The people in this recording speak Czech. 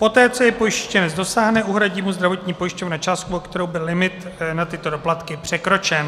Poté co je pojištěnec dosáhne, uhradí mu zdravotní pojišťovna částku, o kterou byl limit na tyto doplatky překročen.